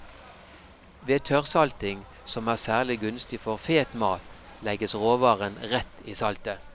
Ved tørrsalting, som er særlig gunstig for fet mat, legges råvaren rett i saltet.